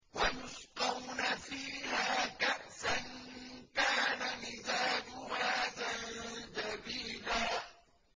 وَيُسْقَوْنَ فِيهَا كَأْسًا كَانَ مِزَاجُهَا زَنجَبِيلًا